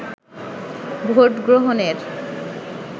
vote গ্রহণের